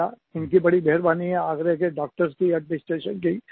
उनकी बड़ी मेहरबानी है आगरा के डॉक्टर्स की एडमिनिस्ट्रेशन की